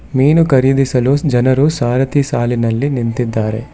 ಮೀನು ಖರೀದಿಸಲು ಜನರು ಸಾರಥಿ ಸಾಲಿನಲ್ಲಿ ನಿಂತಿದ್ದಾರೆ.